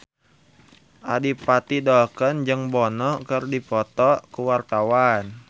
Adipati Dolken jeung Bono keur dipoto ku wartawan